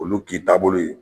Olu k'i taabolo ye.